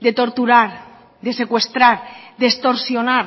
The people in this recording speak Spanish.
de torturar de secuestrar de extorsionar